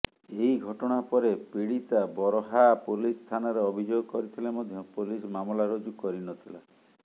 ଏହି ଘଟଣା ପରେ ପିଡୀତା ବରହା ପୋଲିସ ଥାନାରେ ଅଭିଯୋଗ କରିଥିଲେ ମଧ୍ୟ ପୋଲିସ ମାମଲା ରୁଜୁ କରିନଥିଲା